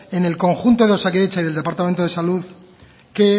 en el conjunto de osakidetza y del departamento de salud que